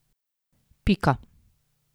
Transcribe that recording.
Pika.